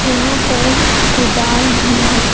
यहां पर कुदाल भी है।